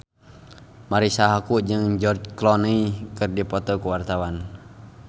Marisa Haque jeung George Clooney keur dipoto ku wartawan